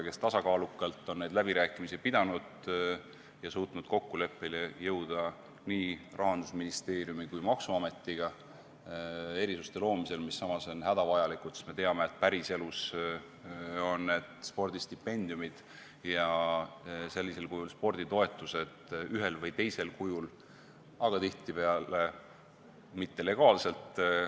Viimane on tasakaalukalt neid läbirääkimisi pidanud ja suutnud kokkuleppele jõuda nii Rahandusministeeriumi kui ka maksuametiga erisuste loomisel, mis on hädavajalikud, sest me teame, et päriselus on need spordistipendiumid ja sporditoetused olnud kasutusel ühel või teisel kujul, aga tihtipeale mitte legaalselt.